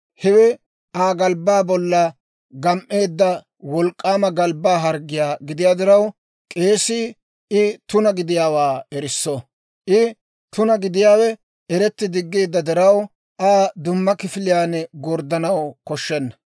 hewe Aa galbbaa bollan gam"eedda wolk'k'aama galbbaa harggiyaa gidiyaa diraw, k'eesii I tuna gidiyaawaa erisso. I tuna gidiyaawe eretti diggeedda diraw, Aa dumma kifiliyaan gorddanaw koshshenna.